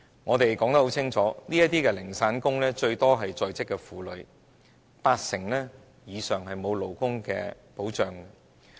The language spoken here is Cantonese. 我們已清楚指出，這些零散工以在職婦女佔多，八成以上沒有勞工保障。